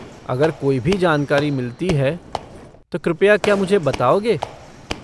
अगर कोई भी जानकारी मिलती है तो कृपया क्या मुझे बताओगे?